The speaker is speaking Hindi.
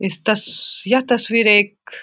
इस तस्स यहाँ तस्वीर एक --